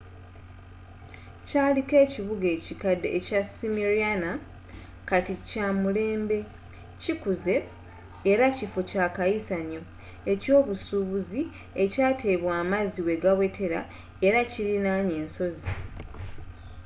kyaliko ekibuga ekikadde ekya smryana kati kyamulembe kikuzze era kiffo ekyakayisanyo eky'ebyobusuubuzi ekyateebwa amazzi wegawetera era kilinaanye ensozi